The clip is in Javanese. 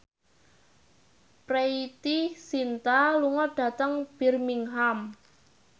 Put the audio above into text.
Preity Zinta lunga dhateng Birmingham